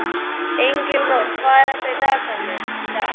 Engilrós, hvað er í dagatalinu í dag?